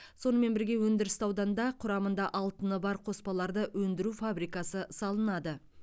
сонымен бірге өндірісті ауданда құрамында алтыны бар қоспаларды өндіру фабрикасы салынады